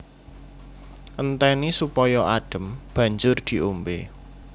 Entèni supaya adhem banjur diombé